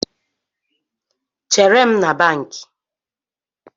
Chere m na bankị